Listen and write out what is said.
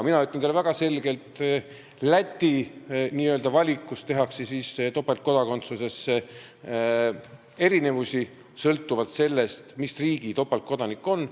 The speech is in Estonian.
Mina ütlen teile väga selgelt, et Läti n-ö valikus on topeltkodakondsuse andmisel erinevused sõltuvalt sellest, mis riigi kodanik inimene on.